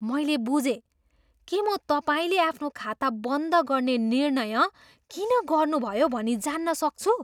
मैले बुझेँ। के म तपाईँले आफ्नो खाता बन्द गर्ने निर्णय किन गर्नुभयो भनी जान्न सक्छु?